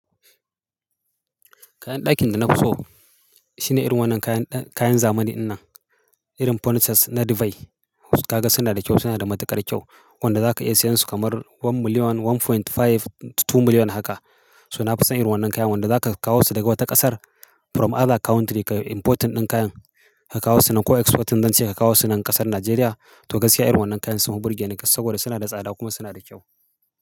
Kayan ɗakin da na fi so shine irin wannan kayan, kayan zamani in nan irin furnitures na Dubai. Kaga suna da kyau, suna da matuƙar kyau wanda za ka iya siyan su kamar one million, one point five to two million haka. So na fi son irin wannan kayan wanda za ka kawo su daga wata ƙasar from other country ka importing ɗin kayan ka kawo su nan ko exporting zan ce ka kawo su nan ƙasar Najeriya. To gaskiya irin wannan kayan suna burge ni kas saboda suna da tsada kuma suna da kyau.